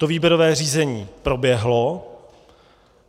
To výběrové řízení proběhlo.